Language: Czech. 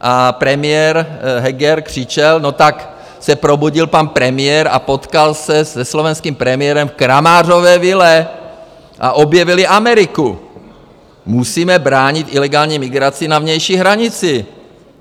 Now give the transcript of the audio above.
a premiér Heger křičel, no tak se probudil pan premiér a potkal se se slovenským premiérem v Kramářově vile a objevili AmerikuI Musíme bránit ilegální migraci na vnější hranici.